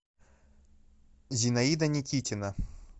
зинаида никитина